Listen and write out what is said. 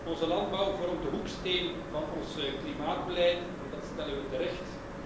Onze landbouw vormt de hoeksteen van ons klimaatbeleid en dat stellen we terecht.